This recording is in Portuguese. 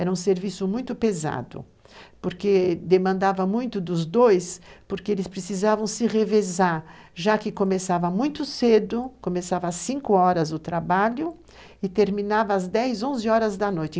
Era um serviço muito pesado, porque demandava muito dos dois, porque eles precisavam se revezar, já que começava muito cedo, começava às cinco horas o trabalho, e terminava às dez, onze horas da noite.